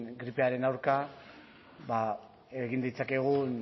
gripearen aurka egin ditzakegun